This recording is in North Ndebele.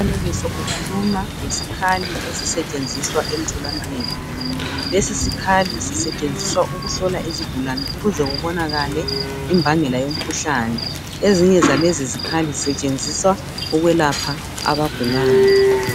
Umfanekiso ukhuluma ngesikali esisetshenziswa emtholampilo. Lesi sikhali sisetshenziswa ukuhlola izigulani ukuze kubonakale imbangela yomkhuhlane. Ezinye zalezi sikhali sisetshenziswa ukwelapha abagulayo.